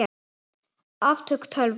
Afköst tölva